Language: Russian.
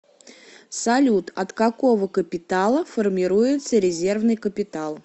салют от какого капитала формируется резервный капитал